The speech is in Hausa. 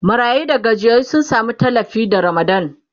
marayu da gajiyayyu sun Sami tallafi da ramadan